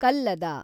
ಕಲ್ಲದ